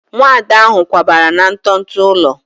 Nwada ahụ kwabara na nto nto ụlọ